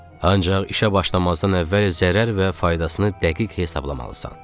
Ancaq işə başlamazdan əvvəl zərər və faydasını dəqiq hesablamalısan.